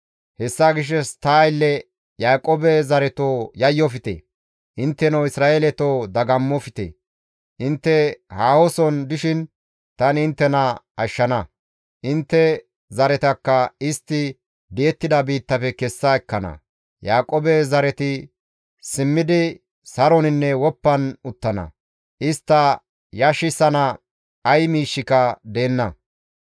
«Hessa gishshas ta aylle Yaaqoobe zareto yayyofte! Intteno Isra7eeleto dagammofte! Intte haahoson dishin tani inttena ashshana; intte zaretakka istti di7ettida biittafe kessa ekkana; Yaaqoobe zareti simmidi saroninne woppan uttana; istta yashissana ay miishshika deenna.